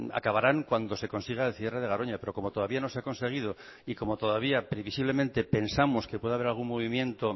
acabarán cuando se consiga el cierre de garoña pero como todavía no se ha conseguido y como todavía previsiblemente pensamos que puede haber algún movimiento